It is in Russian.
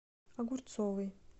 огурцовой